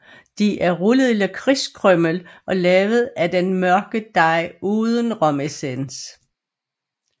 De er rullet i lakridskrymmel og lavet af den mørke dej uden romessens